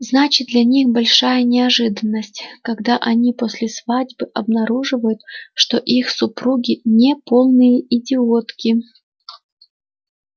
значит для них большая неожиданность когда они после свадьбы обнаруживают что их супруги не полные идиотки